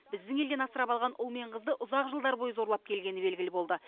біздің елден асырап алған ұл мен қызды ұзақ жылдар бойы зорлап келгені белгілі болды